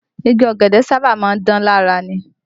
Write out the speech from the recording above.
Igi ọ̀gẹ̀dẹ̀ sábà má ń dán lára ni